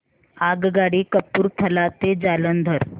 आगगाडी कपूरथला ते जालंधर